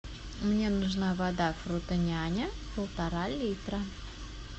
мне нужна вода фрутоняня полтора литра